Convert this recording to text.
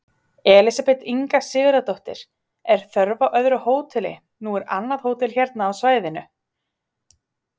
Elísabet Inga Sigurðardóttir: Er þörf á öðru hóteli, nú er annað hótel hérna á svæðinu?